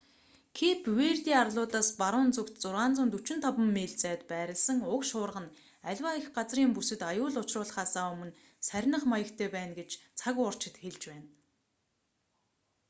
кэйп верде арлуудаас баруун зүгт 645 миль 1040 км зайд байрласан уг шуурга нь аливаа эх газрын бүсэд аюул учруулахаасаа өмнө сарних маягтай байна гэж цаг уурчид хэлж байна